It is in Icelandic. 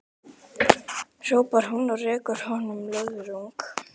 hrópar hún og rekur honum löðrung.